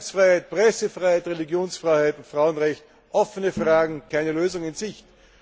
Meinungsfreiheit, Pressefreiheit, Religionsfreiheit und Frauenrechte offene Fragen und keine Lösung in Sicht.